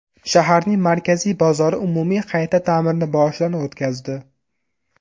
Shaharning markaziy bozori umumiy qayta ta’mirni boshidan o‘tkazdi.